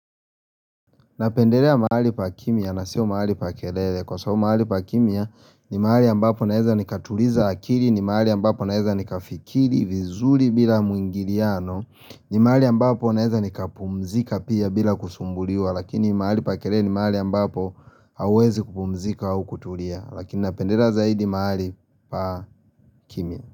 Napendelea mahali pa kimya na siyo mahali pa kelele kwa sababu mahali pa kimya ni mahali ambapo naweza ni katuliza akili ni mahali ambapo naweza ni kafikiri vizuri bila muingiliano ni mahali ambapo naweza ni kapumzika pia bila kusumbuliuwa lakini maali pa kelele ni mahali ambapo hauwezi kupumzika au kutulia lakini napendelea zaidi mahali pa kimya.